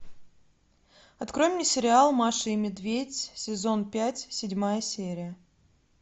открой мне сериал маша и медведь сезон пять седьмая серия